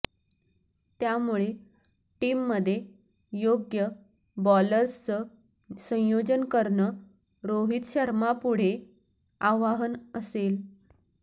त्यामुळे टीममध्ये योग्य बॉलर्सचं संयोजन करणं रोहित शर्मापुढे आव्हान असेल